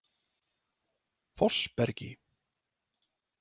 Fossbergi